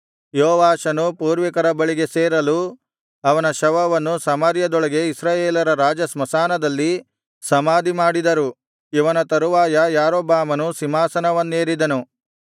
ಯೋವಾಷನು ಪೂರ್ವಿಕರ ಬಳಿಗೆ ಸೇರಲು ಅವನ ಶವವನ್ನು ಸಮಾರ್ಯದೊಳಗೆ ಇಸ್ರಾಯೇಲರ ರಾಜಸ್ಮಶಾನದಲ್ಲಿ ಸಮಾಧಿಮಾಡಿದರು ಇವನ ತರುವಾಯ ಯಾರೊಬ್ಬಾಮನು ಸಿಂಹಾಸನವನ್ನೇರಿದನು